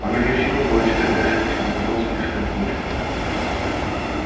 она не в силах была читать дальше письмо казалось слишком скучным